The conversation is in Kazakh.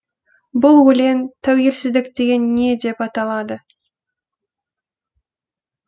бұл өлең тәуелсіздік деген не деп аталады